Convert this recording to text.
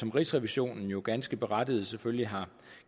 rigsrevisionen jo ganske berettiget selvfølgelig har